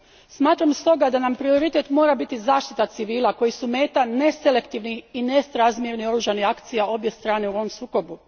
Smatram stoga da nam prioritet mora biti zaštita civila koji su meta neselektivnih i nesrazmjernih oružanih akcija obje strane u ovom sukobu.